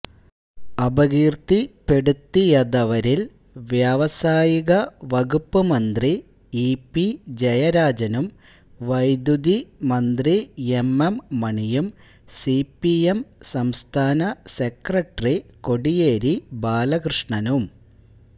അപകീർത്തിപ്പെടുത്തിയതവരിൽ വ്യാവസായിക വകുപ്പ് മന്ത്രി ഇപി ജയരാജനും വൈദ്യുതി മന്ത്രി എംഎം മണിയും സിപിഎം സംസ്ഥാന സെക്രട്ടറി കോടിയേരി ബാലകൃഷ്ണനും